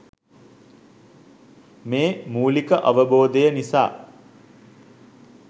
මේ මූලික අවබෝධය නිසා